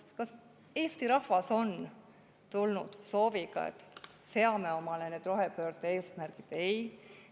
Kas Eesti rahvas on tulnud sooviga, et seame omale need rohepöörde eesmärgid?